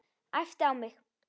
Æpti á mig.